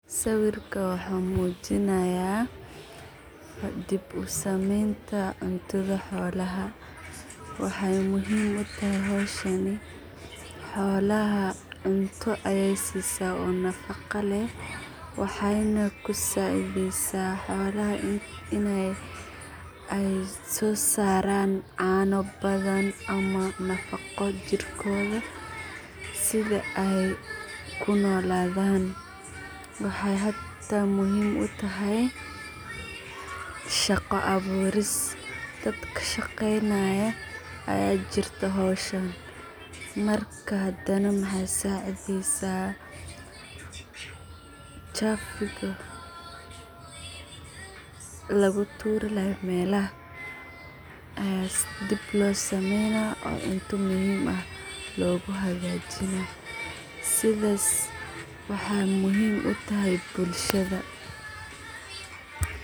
Sawirka waxa mujinaya dib u sameynta cuntadha xoolaha. Waxay muhiim u tahay hawshani xoolaha cunta ayey sisaa nafaqa leeh waxay na kusacidhaysa xoolaha inay ay so saraan caano badan ama nafaqo jiirkoda sidha ay u nooladhan waxay hata muhiim u tahay shaqo abuuris daadka kashaqaynay aya jirta hawshan marka hadana maxay saacidhaysa chafuga laguturi lahay meelaha aya dib loo sameyna oo cunta muhiim eeh aya logahagajina sidhas ay muhiim u tahay bulshada.